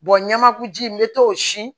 ɲɛmugu ji n bɛ to si